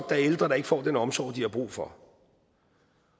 der er ældre der ikke får den omsorg de har brug for